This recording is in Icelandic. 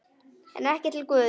En ekki til Guðs.